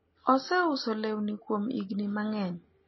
oseuso lewni kuom higni mangeny